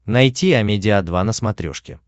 найти амедиа два на смотрешке